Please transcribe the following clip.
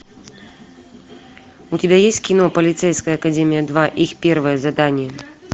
у тебя есть кино полицейская академия два их первое задание